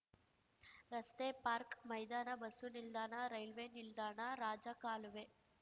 ರಸ್ತೆ ಪಾರ್ಕ್ ಮೈದಾನ ಬಸ್ಸು ನಿಲ್ದಾಣ ರೈಲ್ವೆ ನಿಲ್ದಾಣ ರಾಜಕಾಲುವೆ